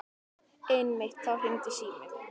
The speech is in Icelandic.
Einmitt þá hringdi síminn.